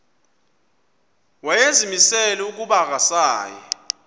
wayezimisele ukuba akasayi